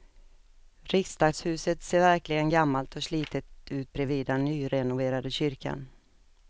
Riksdagshuset ser verkligen gammalt och slitet ut bredvid den nyrenoverade kyrkan.